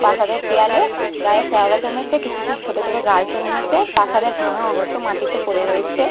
প্রাসাদের দেওয়ালে-এ গায়ে শেওলা জমেছে কিছু ছ ছোটো ছোটো গাছ জন্মেছে প্রাসাদের ভাঙা অংশ মাটিতে পরে রয়েচে-এ।